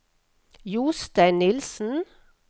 Jostein Nilssen